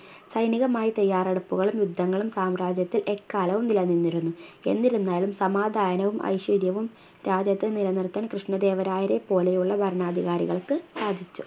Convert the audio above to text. സൈനികമായി തയ്യാറെടുപ്പുകളും യുദ്ധങ്ങളും സാമ്രാജ്യത്തിൽ എക്കാലവും നിലനിന്നിരുന്നു എന്നിരുന്നാലും സമാധാനവും ഐശ്വര്യവും രാജ്യത്ത് നിലനിർത്താൻ കൃഷ്ണ ദേവരായരെപ്പോലെയുള്ള ഭരണാധികാരികൾക്ക് സാധിച്ചു